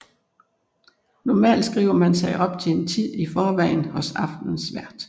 Normalt skriver man sig op til en tid i forvejen hos aftenens vært